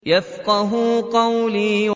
يَفْقَهُوا قَوْلِي